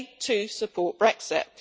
They too support Brexit.